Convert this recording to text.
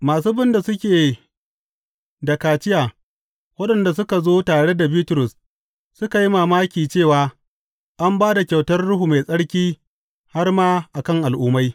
Masu bin da suke da kaciya waɗanda suka zo tare da Bitrus suka yi mamaki cewa an ba da kyautar Ruhu Mai Tsarki har ma a kan Al’ummai.